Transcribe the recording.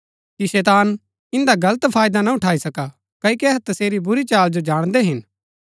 कि शैतान इन्दा गलत फायदा ना उठाई सका क्ओकि अहै तसेरी बुरी चाल जो जाणदै हिन